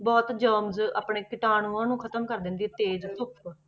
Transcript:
ਬਹੁਤ germs ਆਪਣੇ ਕੀਟਾਣੂਆਂ ਨੂੰ ਖ਼ਤਮ ਕਰ ਦਿੰਦੀ ਹੈ ਤੇਜ਼ ਧੁੱਪ।